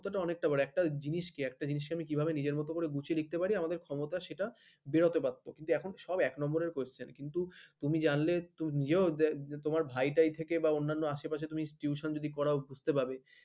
ওইটা তো অনেক টা বড় একটা জিনিস কে একটা জিনিস কে আমি নিজের ভাবে গুছিয়ে লিখতে পারি আমাদের ক্ষমতা সেটা বেরোতে পারতো কিন্তু এখন সব এক number question কিন্তু তুমি জানলে তুমি নিজেও তোমার ভাইটায় থেকে বা অন্য আশেপাশে tuition যদি পড়াও বুঝতে পাবে